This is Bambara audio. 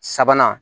Sabanan